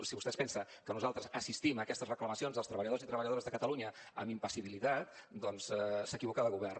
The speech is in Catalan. si vostè es pensa que nosaltres assistim a aquestes reclamacions dels treballadors i treballadores de catalunya amb impassibilitat doncs s’equivoca de govern